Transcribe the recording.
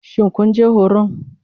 Shin kun je horon?